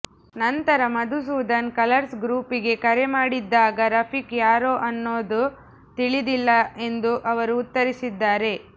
ನಂತರ Madhusudan colours group ಗೆ ಕರೆ ಮಾಡಿದ್ದಾಗ ರಫೀಕ್ ಯಾರು ಅನ್ನೋದು ತಿಳಿದಿಲ್ಲ ಎಂದು ಅವರು ಉತ್ತರಿಸಿದ್ದಾರೆ